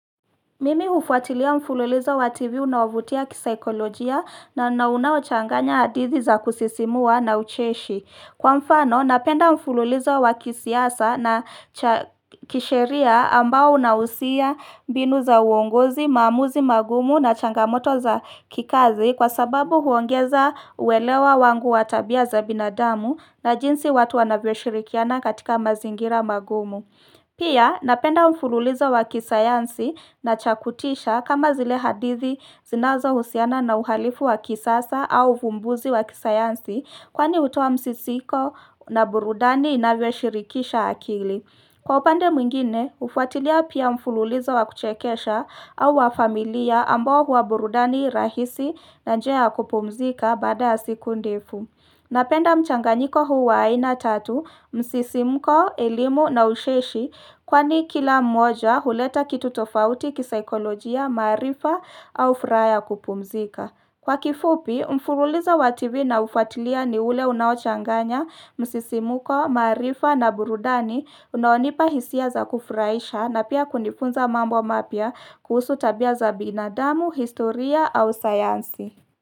Mimi hufuatilia mfululizo wa TV unaovutia kisaikolojia na unaochanganya hadithi za kusisimua na ucheshi. Kwa mfano, napenda mfululizo wa kisiasa na cha kisheria ambao unahusia mbinu za uongozi, maamuzi magumu na changamoto za kikazi kwa sababu huongeza uwelewa wangu wa tabia za binadamu na jinsi watu wanavyo shirikiana katika mazingira magumu. Pia, napenda mfululizo wa kisayansi na cha kutisha kama zile hadithi zinazohusiana na uhalifu wa kisasa au vumbuzi wa kisayansi kwani hutoa msisiko na burudani inavyo shirikisha akili. Kwa upande mwngine, hufuatilia pia mfululizo wa kuchekesha au wa familia ambao huwa burudani rahisi na njia ya kupumzika baada siku ndefu. Napenda mchanganyiko huu wa aina tatu, msisimuko, elimu na ucheshi kwani kila mmoja huleta kitu tofauti kisaikolojia, maarifa au furaha ya kupumzika. Kwa kifupi, mfurulizo wa tvi naufuatilia ni ule unaochanganya, msisimuko, maarifa na burudani unaonipa hisia za kufurahisha na pia kunifunza mambo mapya kuhusu tabia za binadamu, historia au sayansi.